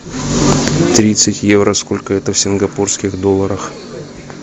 тридцать евро сколько это в сингапурских долларах